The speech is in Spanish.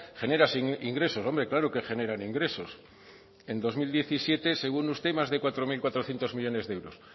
generan ingresos hombre claro que generan ingresos en dos mil diecisiete según usted más de cuatro mil cuatrocientos millónes de euros